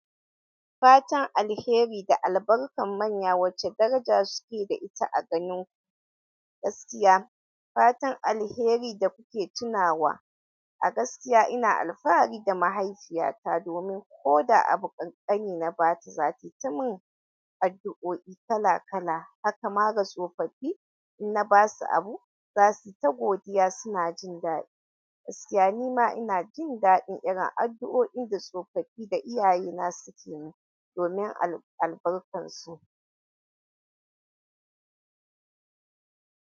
Fatan alheri da albarkar manya wace daraja suke da ita a ganin ku? Gaskiya, fatan alheri da kuke tunawa. A gaskiya ina alfahari da mahaifiyata domin koda abu ƙanƙani na ba ta, za ta yi ta min addu'o'i kala kala. Haka ma ga tsofaffi, in na ba su abu, za su yi ta godiya. Suna jin daɗi gaskiya ni ma ina jin daɗin irin addu'o'in da tsofaffi da iyaye na suke min domin albarkar su.